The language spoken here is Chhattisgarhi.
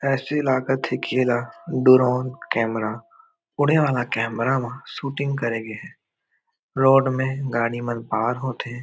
ऐसी लगत कि एला डोरोन कैमरा उड़े वाला कैमरा म सूटिंग करे गे हे रोड में गाड़ी पार होथे।